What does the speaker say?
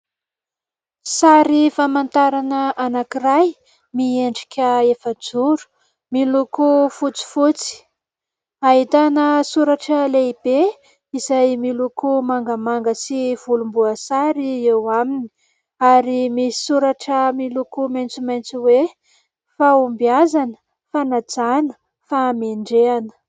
Sary famantarana anankiray miendrika efa-joro. Miloko fotsifotsy. Ahitana soratra lehibe izay miloko manga sy volomboasary eo aminy ary misy soratra miloko maitsomaitso hoe "Fahombiazana, fanajana, fahamendrehana".